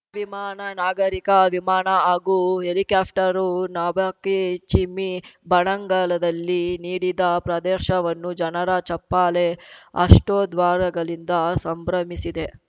ವಿಮಾನ ನಾಗರಿಕ ವಿಮಾನ ಹಾಗೂ ಹೆಲಿಕಾಪ್ಟರು ನಾಭಿಕ್ಕಿ ಚಿಮ್ಮಿ ಬನಂಗಳದಲ್ಲಿ ನೀಡಿದ ಪ್ರದರ್ಶವನ್ನು ಜನರ ಚಪ್ಪಾಳೆ ಹರ್ಷೋದ್ಘಾರಗಳಿಂದ ಸಂಭ್ರಮಿಸಿದೆ